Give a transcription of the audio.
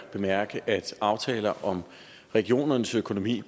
at bemærke at aftaler om regionernes økonomi